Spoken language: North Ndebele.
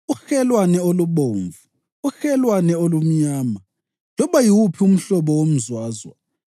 uhelwane olubomvu, uhelwane olumnyama, loba yiwuphi umhlobo womzwazwa